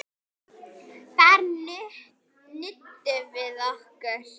Þar nutum við okkar.